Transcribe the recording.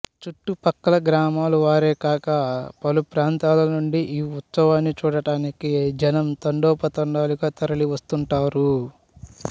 చుట్టు పక్కల గ్రామాల వారే కాక పలు ప్రాంతాల నుండి ఈ ఉత్సవాన్ని చూడటానికి జనం తండోపతండాలుగా తరలి వస్తుంటారు